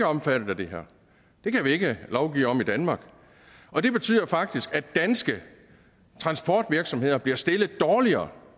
omfattet af det her det kan vi ikke lovgive om i danmark og det betyder faktisk at danske transportvirksomheder bliver stillet dårligere